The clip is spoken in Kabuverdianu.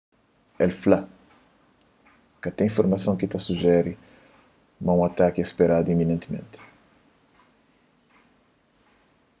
el fla ka ten informason ki ta sujere ma un ataki é speradu iminentimenti